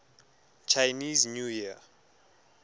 chinese new year